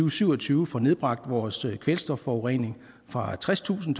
og syv og tyve får nedbragt vores kvælstofforurening fra tredstusind